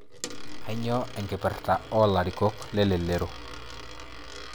Kanyio enkipirta oolarikok le elelero